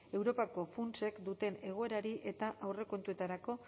europako funtsek duten egoerari eta aurrekontuetarako